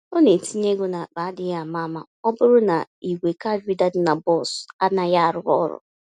Ọ na-etinye égo n'akpa adịghị àmà-àmà ọbụrụ na ìgwè card reader dị na bọs anaghị arụ ọrụ.